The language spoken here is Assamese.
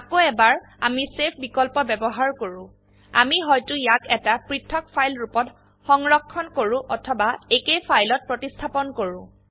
আকৌ এবাৰ আমি Saveবিকল্প ব্যবহাৰ কৰো আমি হয়টো ইয়াক এটা পৃথক ফাইল ৰুপত সংৰক্ষণ কৰো অথবা একেই ফাইলত প্ৰতিস্থাপন কৰো